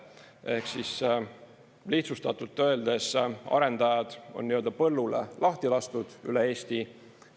Ehk lihtsustatult öeldes, arendajad on nii-öelda põllule lahti lastud üle Eesti.